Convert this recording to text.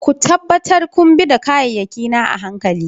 Ku tabbata kun bi da kayayyaki na a hankali.